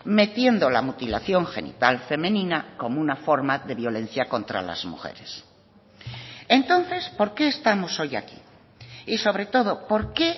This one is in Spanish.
metiendo la mutilación genital femenina como una forma de violencia contra las mujeres entonces por qué estamos hoy aquí y sobre todo por qué